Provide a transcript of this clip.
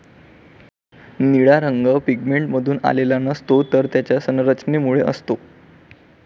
निळा रंग पिगमेंटमधून आलेला नसतो, तर त्याच्या संरचनेमुळे असतो.